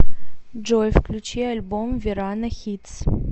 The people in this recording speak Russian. джой включи альбом верано хитс